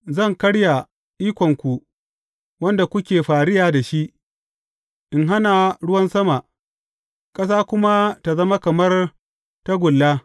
Zan karya ikonku wanda kuke fariya da shi, in hana ruwan sama, ƙasa kuma tă zama kamar tagulla.